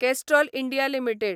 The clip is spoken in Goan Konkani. Castrol India limited